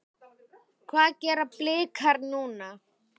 Hvað gera Blikar núna?